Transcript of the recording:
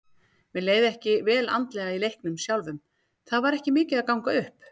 Mér leið ekki vel andlega í leiknum sjálfum, það var ekki mikið að ganga upp.